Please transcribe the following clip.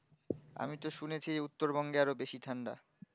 আমিতো শুনেছি উত্তর বঙ্গেআরো বেশি ঠান্ডা